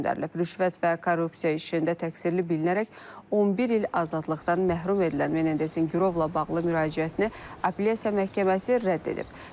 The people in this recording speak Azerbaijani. Rüşvət və korrupsiya işində təqsirli bilinərək 11 il azadlıqdan məhrum edilən Menendezin girovla bağlı müraciətini Apellyasiya Məhkəməsi rədd edib.